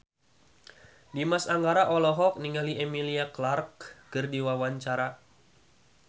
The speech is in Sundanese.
Dimas Anggara olohok ningali Emilia Clarke keur diwawancara